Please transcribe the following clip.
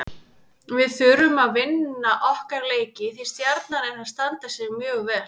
Við þurfum að vinna okkar leiki því Stjarnan er að standa sig mjög vel.